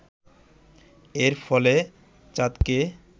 এর ফলে চাঁদকে